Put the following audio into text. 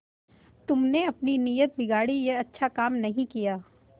तुमने अपनी नीयत बिगाड़ी यह अच्छा काम नहीं किया